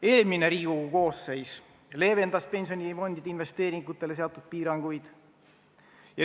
Eelmine Riigikogu koosseis leevendas pensionifondide investeeringutele seatud piiranguid.